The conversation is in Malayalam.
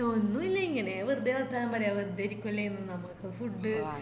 ഒന്നുല്ല ഇങ്ങനെ വെറുതെ വർത്താനം പറയാം വെറുതെ ഇരിക്കുവല്ലേ നമുക്ക് food